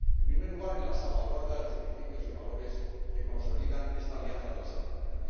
En primer lugar, en la salvaguarda de los principios y valores que consolidan esta alianza transatlántica.